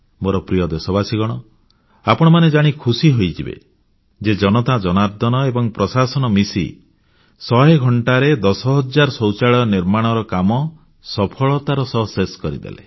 ମୋର ପ୍ରିୟ ଦେଶବାସୀଗଣ ଆପଣମାନେ ଜାଣି ଖୁସି ହୋଇଯିବେ ଯେ ଜନତାଜନାର୍ଦ୍ଦନ ଏବଂ ପ୍ରଶାସନ ମିଶି ଶହେ ଘଣ୍ଟାରେ 10000ଶୌଚାଳୟ ନିର୍ମାଣ କାମ ସଫଳତାର ସହ ଶେଷ କରିଦେଲେ